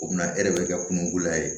O bɛna e de bɛ ka kungo la yen